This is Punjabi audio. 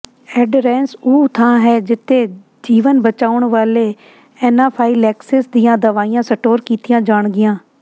ਐਡਰੈੱਸ ਉਹ ਥਾਂ ਹੈ ਜਿਥੇ ਜੀਵਨ ਬਚਾਉਣ ਵਾਲੇ ਐਨਾਫਾਈਲੈਕਸਿਸ ਦੀਆਂ ਦਵਾਈਆਂ ਸਟੋਰ ਕੀਤੀਆਂ ਜਾਣਗੀਆਂ